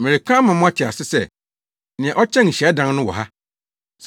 Mereka ama moate ase sɛ, nea ɔkyɛn hyiadan no wɔ ha!